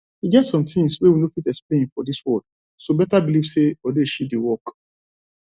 e get some things wey we no fit explain for dis world so better believe say odeshi dey work